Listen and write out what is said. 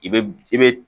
I be i be